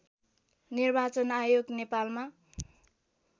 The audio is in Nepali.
निर्वाचन आयोग नेपालमा